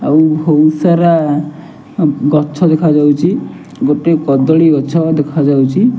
ଆଉ ବହୁତ ସାରା ଗଛ ଦେଖାଯାଉଛି ଗୋଟେ କଦଳୀ ଗଛ ଦେଖାଯାଉଛି।